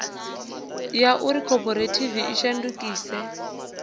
ya uri khophorethivi i shandukise